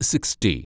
sixty